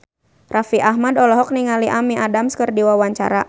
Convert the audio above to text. Raffi Ahmad olohok ningali Amy Adams keur diwawancara